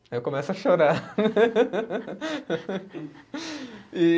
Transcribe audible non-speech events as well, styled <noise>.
Aí eu começo a chorar. <laughs> E